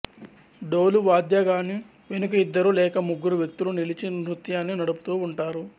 డోలు వాద్యగాని వెనుక ఇద్దరు లేక ముగ్గురు వ్యక్తులు నిలిచి నృత్యాన్ని నడుపుతూ ఉంటారు